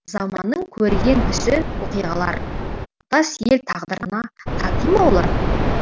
заманның көрген түсі оқиғалар тұтас ел тағдырына тати ма олар